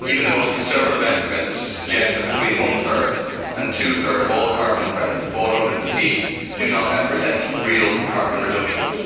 Even the most conservative estimates suggest that between one third and two thirds of all carbon credits bought under the scheme do not represent real carbon reductions.